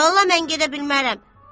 Vallah mən gedə bilmərəm.